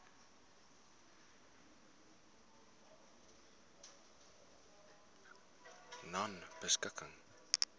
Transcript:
nonebeskikking